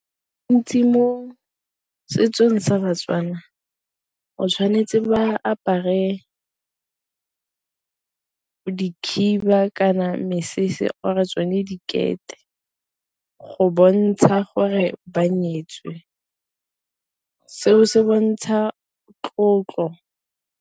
Ntsi mo setsong sa baTswana o tshwanetse ba apare khiba, kana mesese or-e tsone dikete go bontsha gore ba nyetswe seo se bontsha tlotlo.